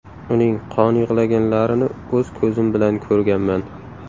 Uning qon yig‘laganlarini o‘z ko‘zim bilan ko‘rganman.